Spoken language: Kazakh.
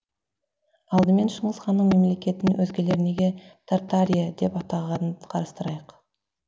алдымен шыңғыс ханның мемлекетін өзгелер неге тартария деп атағанын қарастырайық